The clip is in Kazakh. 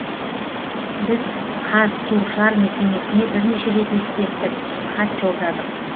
біз қазсушар мекемесіне бірнеше рет ескерттік хат жолдадық